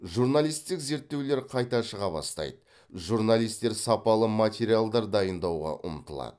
журналистік зерттеулер қайта шыға бастайды журналистер сапалы материалдар дайындауға ұмтылады